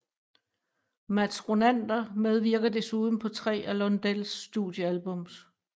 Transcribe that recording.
Mats Ronander medvirkede desuden på tre af Lundells studioalbums